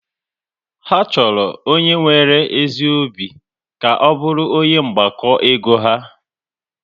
Ha chọrọ onye nwere ezi obi ka ọ bụrụ onye mgbakọ ego ha